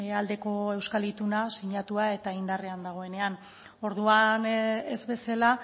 aldeko euskal ituna sinatua eta indarrean dagoenean orduan ez bezala